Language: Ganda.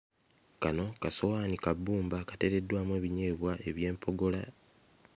Kano kasowaani ka bbumba kateereddwamu ebinyeebwa eby'empogola.